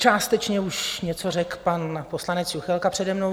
Částečně už něco řekl pan poslanec Juchelka přede mnou.